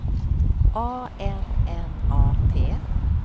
A N N A T